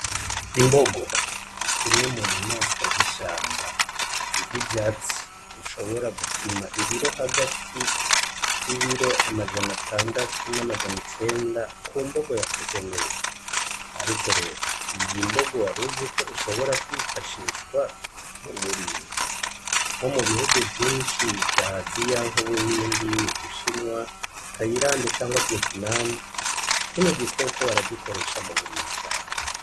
Imbogo, kimwe munyaswa z'ishamba zirya ivyatsi bishobora gupima ibiro hagati y'ibiro amajana atandatu n'amajana icenda ku mbogo yakuze neza, ariko rero iyi mbogo waruzi ko ishobora kwifashishwa mu burimyi nko mu bihugu vyinshi vya aziya, ubuhindi, ubushinwa, tayirande canke vyetinamu kino gikoko baragikoresha muburimyi cane.